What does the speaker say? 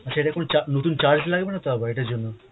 আচ্ছা এটা কোন চা~ নতুন charge লাগবেনাতো আবার এটার জন্য!